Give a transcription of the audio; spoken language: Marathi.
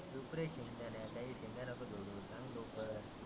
चुप रे शिंताड्या काही शेंड्या नको सोडु. सांग लवकर.